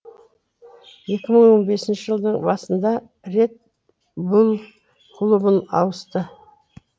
екі мың он бесінші жылдың басында ред булл клубын ауысты